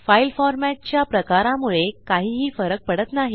file format च्या प्रकारामुळे काहीही फरक पडत नाही